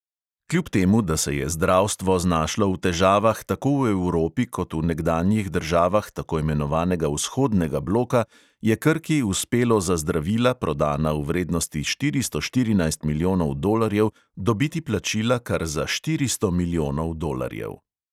Kljub temu, da se je zdravstvo znašlo v težavah tako v evropi kot v nekdanjih državah tako imenovanega vzhodnega bloka, je krki uspelo za zdravila, prodana v vrednosti štiristo štirinajst milijonov dolarjev, dobiti plačila kar za štiristo milijonov dolarjev.